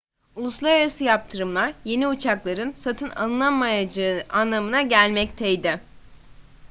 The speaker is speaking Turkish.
uluslararası yaptırımlar yeni uçakların satın alınamayacağı anlamına gelmekteydi